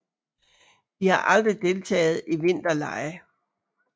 De har aldrig deltaget i vinterlege